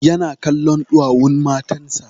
Ya na kallon ɗuwawun matan sa